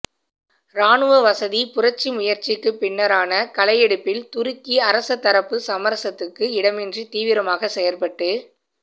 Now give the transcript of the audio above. ராணுவசதிப்புரட்சி முயற்சிக்குப் பின்னரான களையெடுப்பில் துருக்கி அரசதரப்பு சமரசத்துக்கு இடமின்றி தீவிரமாகச் செயற்பட்டு